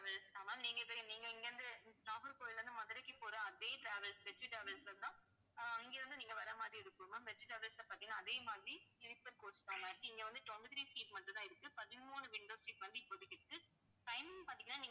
travels தான் ma'am நீங்க இப்ப நீங்க இங்கயிருந்து நாகர்கோவில்ல இருந்து மதுரைக்கு போற அதே travels வெற்றி டிராவல்ஸ்ல தான் அஹ் இங்க இருந்து நீங்க வர மாதிரி இருக்கும் ma'am வெற்றி டிராவல்ஸ்ல பார்த்தீங்கன்னா அதே மாதிரி sleeper coach தான் ma'am இங்க வந்து twenty-three seat மட்டும்தான் இருக்கு. பதிமூணு windows seat வந்து இப்போதைக்கு இருக்கு timing பார்த்தீங்கன்னா